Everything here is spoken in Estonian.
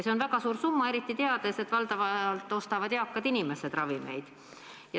See on väga suur summa, eriti teades, et ravimeid ostavad valdavalt eakad inimesed.